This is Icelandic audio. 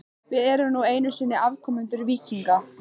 Við erum nú einu sinni afkomendur víkinga.